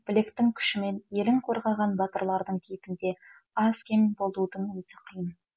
білектің күшімен елін қорғаған батырлардың кейпінде аз кем болудың өзі қиын